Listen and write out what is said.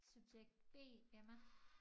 Subjekt B Emma